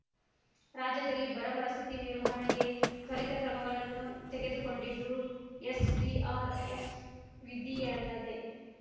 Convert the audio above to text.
ರಾಜ್ಯದಲ್ಲಿ ಬರಪರಿಸ್ಥಿತಿ ನಿರ್ವಹಣೆಗೆ ತ್ವರಿತ ಕ್ರಮಗಳನ್ನು ತೆಗೆದುಕೊಂಡಿದ್ದು ಎಸ್ಡಿಆರ್ಎಫ್ ನಿಧಿಯಲ್ಲದೆ